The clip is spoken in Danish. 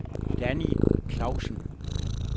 Danny Clausen